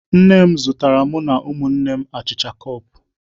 Nne m zụtara mụ na ụmụnne m achịcha cup